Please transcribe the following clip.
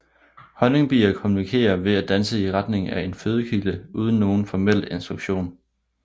Honningbier kommunikerer ved at danse i retning af en fødekilde uden nogen formel instruktion